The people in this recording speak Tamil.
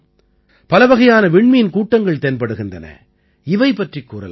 பலவகையான விண்மீன் கூட்டங்கள் தென்படுகின்றன இவை பற்றிக் கூறலாம்